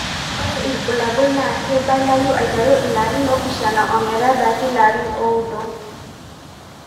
Ore ibulabul nakeibalayu aiteru larin opishana ometabaiki larin oudo.